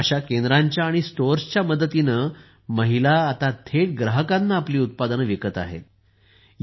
अशा केंद्रांच्या आणि स्टोअर्सच्या मदतीने महिला आता थेट ग्राहकांना आपली उत्पादने विकू शकतील